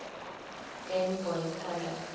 game boy color